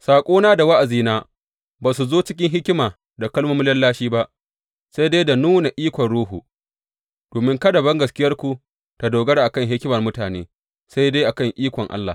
Saƙona da wa’azina ba su zo cikin hikima da kalmomin lallashi ba, sai dai da nuna ikon Ruhu, domin kada bangaskiyarku ta dogara a kan hikimar mutane, sai dai a kan ikon Allah.